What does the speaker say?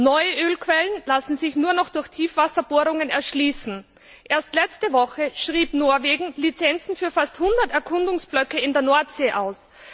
Neue Ölquellen lassen sich nur noch durch Tiefwasserbohrungen erschließen. Erst letzte Woche schrieb Norwegen Lizenzen für fast 100 Erkundungsblöcke in der Nordsee aus.